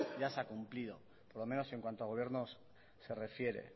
ya se ha cumplido por lo menos en cuanto a gobiernos se refiere